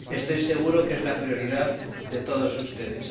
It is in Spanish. Estoy seguro de que es la prioridad de todos ustedes.